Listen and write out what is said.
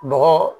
Bɔgɔ